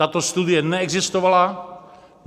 Tato studie neexistovala.